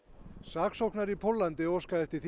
saksóknari í Póllandi óskaði eftir